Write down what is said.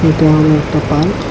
এটা হলো একটা পার্ক ।